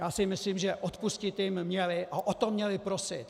Já si myslím, že odpustit jim měli - a o to měli prosit.